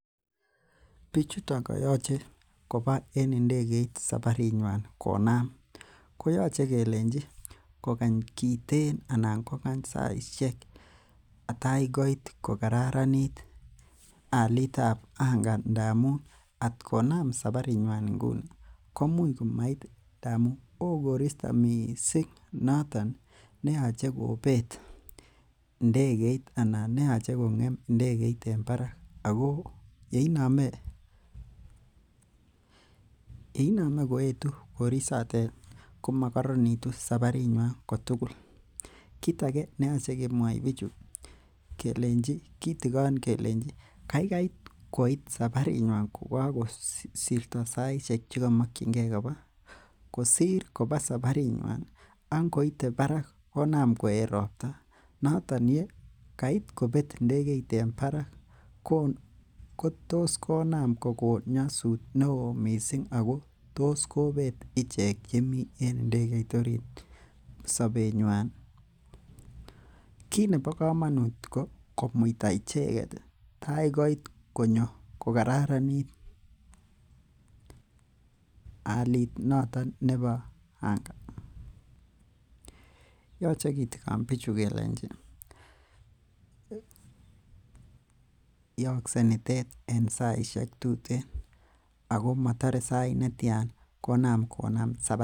Bichuton koyoche koba en ndekeit sabarinywan konam koyoche kelenji kokany kiten anan kokany saisiek tai koit kokararanit alit ab anga ndamun at konam sabarinywan Nguni komuch komait amun oo koristo missing noton neyoche kobet ndegeit ana neoche kong'em ndegeit en barak ako yeinome yeinome koetu korisotet komokoronitu sabarinywan kotugul. Kit age neyoche kemwoi bichu kelenji kitigon kelenji kaikai koit sabarinywan ko kakosirto saisiek chekomokyingee kosir koba sabarinywan ak ngoite barak konam koet ropta noton ye kait kobet ndekeit en barak kotos konam kokon nyosut neoo missing ako tos kobet ichek chemii ndekeit orit sobetnywan. Kit nebo komonut kot komuita icheket tai koit konyo kokararanit alit noton nebo anga yoche kitigon bichu kelenji yookse nitet en saisiek tuten ako motore sait netyan konam konam sabarinywan